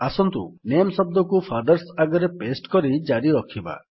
ଆସନ୍ତୁ ନାମେ ଶବ୍ଦକୁ ଫାଦର୍ସ ଆଗରେ ପାସ୍ତେ କରି ଜାରି ରଖିବା